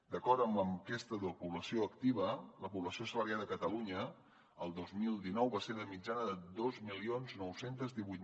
d’acord amb l’enquesta de població activa la població assalariada a catalunya el dos mil dinou va ser de mitjana de dos mil nou cents i divuit